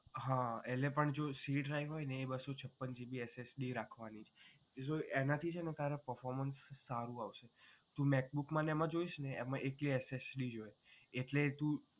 હા એટલે પણ જો c drive હોય એ બસ્સો છપ્પન GBSSD રાખવાની છે એનાથી વધારે performance સારું આવશે તું macbook ને એમાં જોઇશ એમાં એક SSD જ હોય એટલે તું